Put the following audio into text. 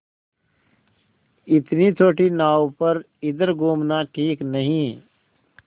इतनी छोटी नाव पर इधर घूमना ठीक नहीं